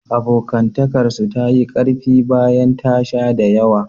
Abokantakarsu ta yi ƙarfi bayan ta sha da yawa.